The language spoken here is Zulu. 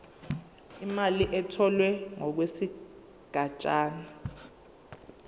imali etholwe ngokwesigatshana